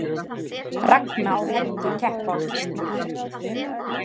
Ragna og Helgi keppa á Kýpur